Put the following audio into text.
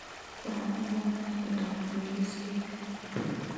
Waxaan u baahanahay inaan hubiyo liiskayga